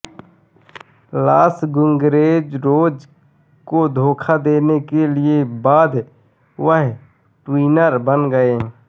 loss Guerreros को धोखा देने के बाद वह ट्वीनर बन गए